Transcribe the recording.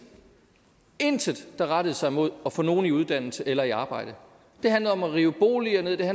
intet der rettede sig mod at få nogen i uddannelse eller i arbejde det handlede om at rive boliger ned det